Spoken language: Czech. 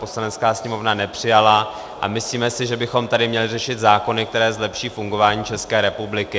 Poslanecká sněmovna nepřijala a myslíme si, že bychom tady měli řešit zákony, které zlepší fungování České republiky.